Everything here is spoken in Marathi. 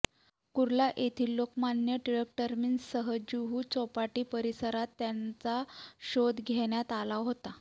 कुर्ला येथील लोकमान्य टिळक टर्मिनससह जुहू चौपाटी परिसरात त्यांचा शोध घेण्यात आला होता